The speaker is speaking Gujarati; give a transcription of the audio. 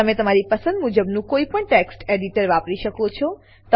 તમે તમારી પસંદ મુજબનું કોઈપણ ટેક્સ્ટ એડિટર વાપરી શકો છો